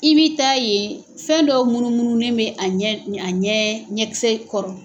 I bɛ taa yen, fɛn dɔw munnumunnu ne bɛ a ɲɛ ɲɛkisɛ kɔrɔ.